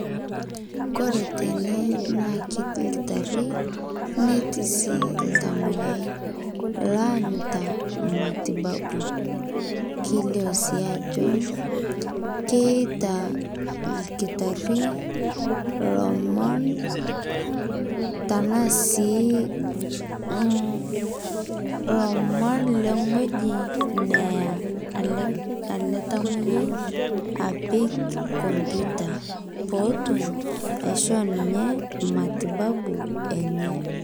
Kore tene naa ketii lkitaari netii sii ltamoyiai laanyitaa matibabu keleo sii ajoo keeta lkitaari lomoon tana sii lomoon le ng'oji neaa ale ale ltamoyiai apiik kompyuta poo otuum aishoo ninye matibabu enye.